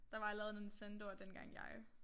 Der var lavet Nintendoer dengang jeg